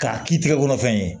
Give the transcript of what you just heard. K'a k'i tɛgɛ kɔnɔ fɛn ye